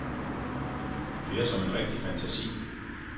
Det er som en rigtig fantasi.